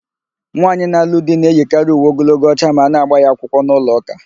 Nwaanyị na-alụ di na-eyikarị uwe ogologo ọcha ma a na-ágbà ya akwụkwọ n'ụlọụka.